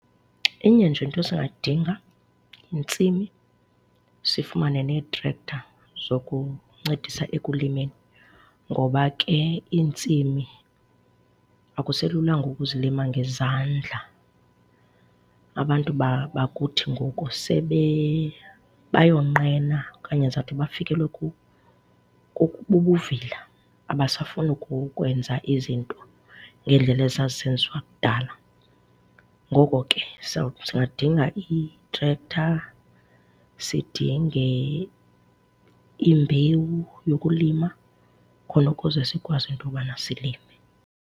Inye nje into esingayidinga, yintsimi, sifumane nee-tractor zokuncedisa ekulimeni. Ngoba ke iintsimi akuselulanga ukuzilima ngezandla. Abantu bakuthi ngoku sebe bayonqena okanye ndizawuthi bafikelwe bubuvila. Abasafuni ukwenza izinto ngendlela ezazisenziwa kudala. Ngoko ke singadinga i-tractor, sidinge imbewu yokulima khona ukuze sikwazi into yobana silime.